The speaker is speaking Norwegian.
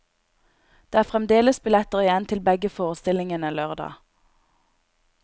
Det er fremdeles billetter igjen til begge forestillingene lørdag.